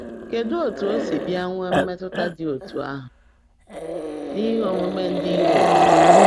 Kedụ etu o si bịa nwee mmetụta dị etu ahụ n’ihe omume ndị Europe?